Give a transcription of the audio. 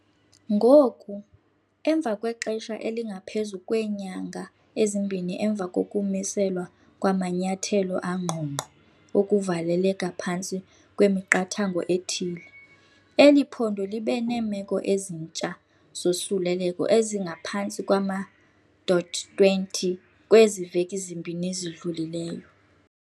Ngoku, emva kwexesha elingaphezu kweenyanga ezimbini emva kokumiselwa kwamanyathelo angqongqo okuvaleleka phantsi kwemiqathango ethile, eli phondo libe neemeko ezintsha zosuleleko ezingaphantsi kwama-20 kwezi veki zimbini zidlulileyo.